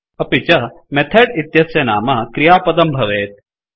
अपि च मेथेड इत्यस्य नाम क्रियापदं भवेत्